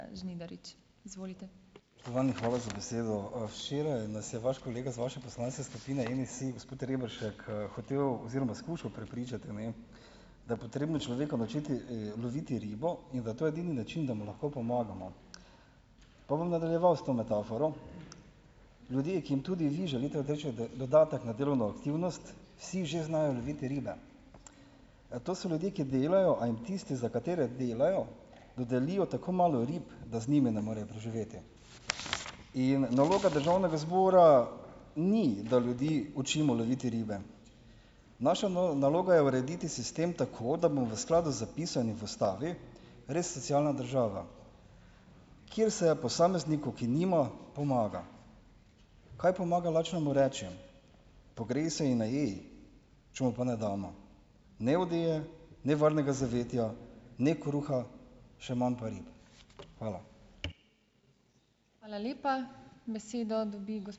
Spoštovani, hvala za besedo. Včeraj nas je vaš kolega iz vaše poslanske skupine NSi, gospod Rebršek, hotel oziroma skušal prepričati, ne, da je potrebno človeka naučiti, uloviti ribo, in da je to edini način, da mu lahko pomagamo. Pa bom nadaljeval s to metaforo. Ljudje, ki jim tudi vi želite dodatek na delovno aktivnost, vsi že znajo loviti ribe. To so ljudje, ki delajo, a jim tisti, za katere delajo, dodelijo tako malo rib, da z njimi ne morejo preživeti. In naloga državnega zbora ni, da ljudi učimo loviti ribe. Naša naloga je urediti sistem tako, da bo v skladu s skladu z zapisanim v ustavi res socialna država, kjer se posamezniku, ki nima, pomaga. Kaj pomaga, lačnemu rečejo: "Pogrej se in najej," če mu pa ne damo ne odeje ne varnega zavetja ne kruha, še manj pa rib. Hvala.